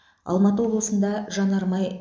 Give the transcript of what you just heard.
алматы облысында жанармай